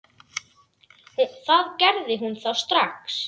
Það gerði hún þá strax.